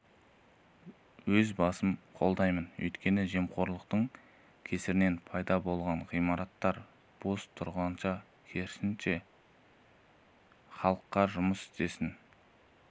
өз басым қолдаймын өйткені жемқорлықтың кесірінен пайда болған ғимараттар бос тұрғанша керісінше халыққа жұмыс істесін